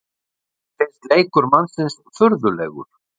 Henni finnst leikur mannsins furðulegur.